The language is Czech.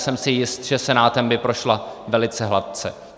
Jsem si jist, že Senátem by prošla velice hladce.